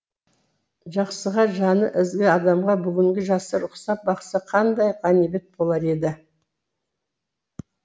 жақсыға жаны ізгі адамға бүгінгі жастар ұқсап бақса қандай ғанибет болар еді